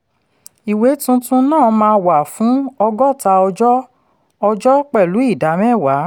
ìwé tuntun náà máa wà fún ọgọ́ta ọjọ́ ọjọ́ pẹ̀lú ìdá mẹ́wàá.